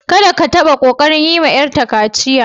Kadda ka tabba kokari yi ma yar ta kaciya!